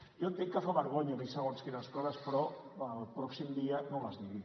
jo entenc que fa vergonya dir segons quines coses però el pròxim dia no les digui